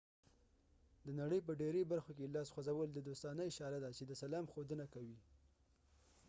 د نړۍ په ډیری برخو کې لاس خوځول د دوستانه اشاره ده چې د سلام ښودنه کوي